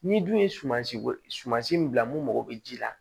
N'i dun ye sumansi bɔ suma si min bila mun mago bɛ ji la